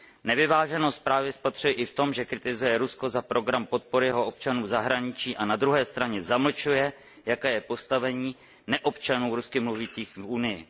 Nevyváženost právě spatřuji i v tom, že kritizuje Rusko za program podpory jeho občanů v zahraničí a na druhé straně zamlčuje, jaké je postavení neobčanů rusky mluvících v Unii.